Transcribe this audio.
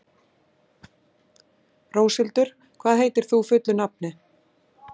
Róshildur, hvað heitir þú fullu nafni?